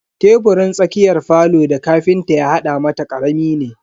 Teburin tsakiyar falo da ƙafinta ya hada mata karami ne.